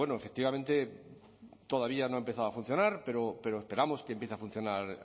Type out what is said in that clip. efectivamente todavía no ha empezado a funcionar pero esperamos que empiece a funcionar